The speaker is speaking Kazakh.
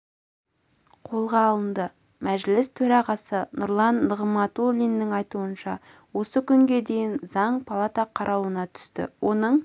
қолға алынды мәжіліс төрағасы нұрлан нығматулиннің айтуынша осы күнге дейін заң палата қарауына түсті оның